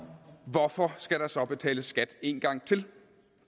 hvorfor skal der så betales skat en gang til